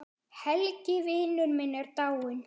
Helgi vinur minn er dáinn.